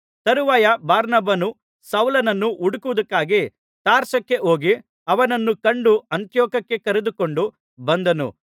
ತರುವಾಯ ಬಾರ್ನಬನು ಸೌಲನನ್ನು ಹುಡುಕುವುದಕ್ಕಾಗಿ ತಾರ್ಸಕ್ಕೆ ಹೋಗಿ ಅವನನ್ನು ಕಂಡು ಅಂತಿಯೋಕ್ಯಕ್ಕೆ ಕರೆದುಕೊಂಡು ಬಂದನು